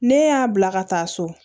Ne y'a bila ka taa so